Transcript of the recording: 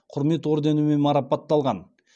құрмет орденімен марапатталған